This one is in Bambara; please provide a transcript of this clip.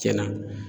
Cɛn na